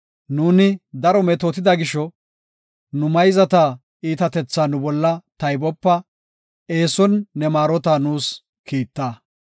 Nuuni daro metootida gisho, nu mayzata iitatethaa nu bolla taybopa; eeson ne maarota nuus kiitta.